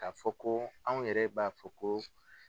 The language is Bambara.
K'a fɔ ko an yɛrɛ b'a fɔ ko